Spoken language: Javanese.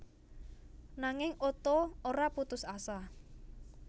Nanging Otto ora putus asa